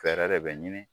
Fɛɛrɛ de bɛ ɲini